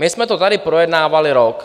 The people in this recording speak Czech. My jsme to tady projednávali rok.